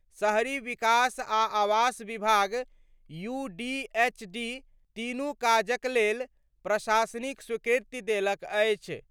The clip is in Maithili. शहरी विकास आ आवास विभाग (यूडीएचडी) तीनू काजक लेल प्रशासनिक स्वीकृति देलक अछि।